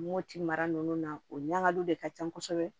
Moti mara nunnu na o ɲagalu de ka can kosɛbɛ